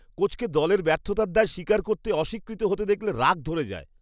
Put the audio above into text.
কোচকে দলের ব্যর্থতার দায় স্বীকার করতে অস্বীকৃত হতে দেখলে রাগ ধরে যায়।